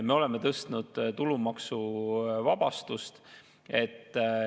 Me oleme tõstnud tulumaksuvabastust.